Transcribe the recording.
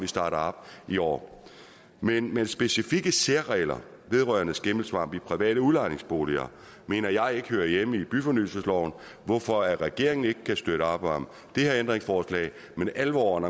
startet op i år men men specifikke særregler vedrørende skimmelsvamp i private udlejningsboliger mener jeg ikke hører hjemme i byfornyelsesloven hvorfor regeringen ikke kan støtte op om det her ændringsforslag men alvoren